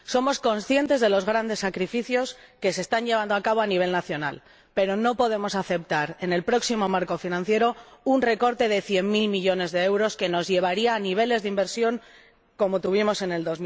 Somos conscientes de los grandes sacrificios que se están llevando a cabo a nivel nacional, pero no podemos aceptar en el próximo marco financiero un recorte de cien mil millones de euros que nos llevaría a niveles de inversión de